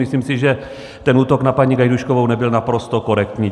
Myslím si, že ten útok na paní Gajdůškovou nebyl naprosto korektní.